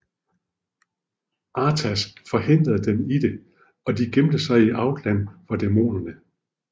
Arthas forhindrede dem i det og de gemte sig i Outland for demonerne